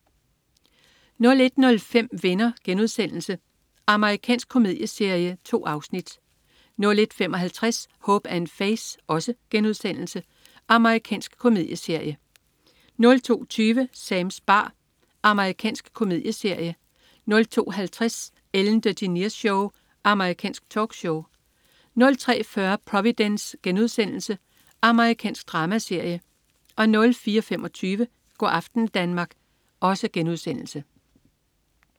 01.05 Venner.* Amerikansk komedieserie. 2 afsnit 01.55 Hope & Faith.* Amerikansk komedieserie 02.20 Sams bar. Amerikansk komedieserie 02.50 Ellen DeGeneres Show. Amerikansk talkshow 03.40 Providence.* Amerikansk dramaserie 04.25 Go' aften Danmark*